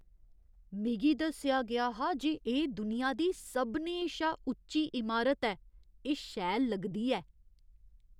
मिगी दस्सेआ गेआ हा जे एह् दुनिया दी सभनें शा उच्ची इमारत ऐ। एह् शैल लगदी ऐ!